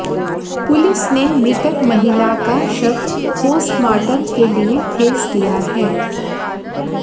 police ने मृतक महिला का शव पोस्टमार्टम के लिए भेज दिया है